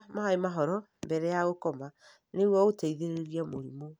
Nyua maĩ mahoro mbere ya gũkoma nĩguo ũteithĩrĩrie mũrimũ.